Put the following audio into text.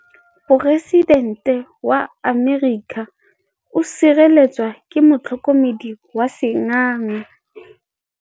Poresitêntê wa Amerika o sireletswa ke motlhokomedi wa sengaga.